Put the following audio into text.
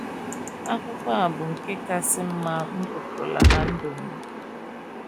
akwụkwọ a bụ nke kasị mma m gụtụrụla ná ndụ m um nile.